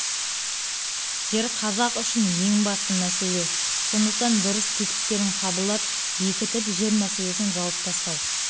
жер қазақ үшін ең басты мәселе сондықтан дұрыс тетіктерін қабылдап бекітіп жер мәселесін жауып тастау